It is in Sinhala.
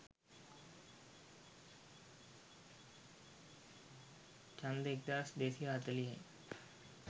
ඡන්ද එක්දහස් දෙසිය හතලිහයි.